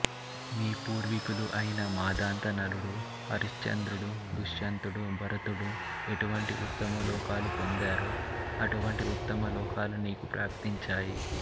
నీ పూర్వీకులు అయిన మాంధాత నలుడు హరిశ్చంద్రుడు దుష్యంతుడు భరతుడు ఎటువంటి ఉత్తమలోకాలు పొందారో అటువంటి ఉత్తమలోకాలు నీకు ప్రాప్తించాయి